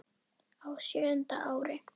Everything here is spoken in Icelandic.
Á sjöunda ári